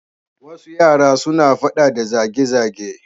Wasu yara suna faɗa da zage-zage.